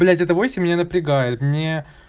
блять это восемь меня напрягает мне